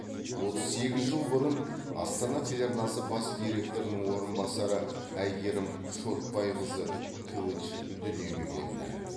отыз сегіз жыл бұрын астана телеарнасы бас директорының орынбасары әйгерім шотбайқызы кылыч дүниеге келді